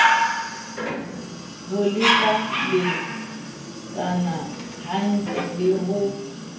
ho lekalekana hantle le ho